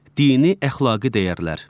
Dini əxlaqi dəyərlər.